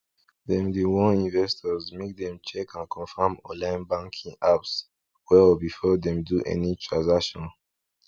dem dey warn investors make dem check and confirm online banking apps well before dem do any transaction